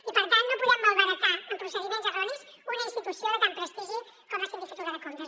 i per tant no podem malbaratar amb procediments erronis una institució de tant prestigi com la sindicatura de comptes